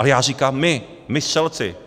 Ale já říkám my, my střelci.